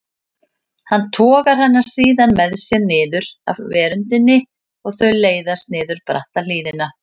Hann togar hana síðan með sér niður af veröndinni og þau leiðast niður bratta hlíðina.